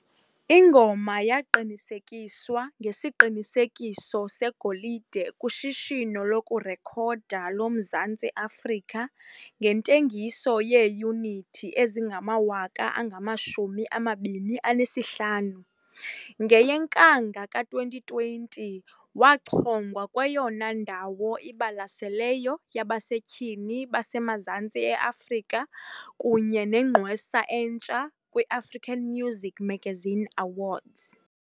Ingoma yaqinisekiswa ngesiqinisekiso segolide kuShishino lokuRekhoda loMzantsi Afrika ngentengiso yeeyunithi ezingama-25 000. NgeyeNkanga ka-2020, wachongwa kweyona ndawo ibalaseleyo yabasetyhini baseMazantsi e-Afrika kunye neNgqwesa eNtsha kwi-African Muzik Magazine Awards.